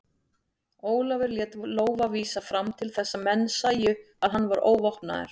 Ólafur lét lófa vísa fram til þess að menn sæju að hann var óvopnaður.